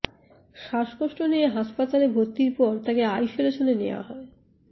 শ্বাসকষ্ট নিয়ে হাসপাতালে ভর্তির পর তাকে আইসোলেশনে নেয়া হয়